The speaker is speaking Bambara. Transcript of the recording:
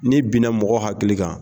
N'i binna mɔgɔ hakili kan